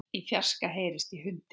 Í fjarska heyrist í hundi.